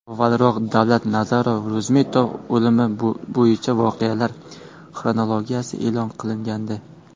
Avvalroq Davlatnazar Ro‘zmetov o‘limi bo‘yicha voqealar xronologiyasi e’lon qilingandi .